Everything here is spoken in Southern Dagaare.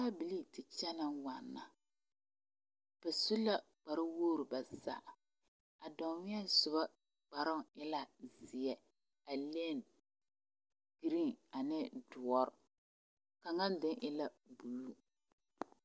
Arebilii te kyɛnɛ waana ba su la kpar woor ba zaa a danweɛ soba kparoo e la zeɛ a leni geree ane doɔrɔ kaŋa deŋ e la buluu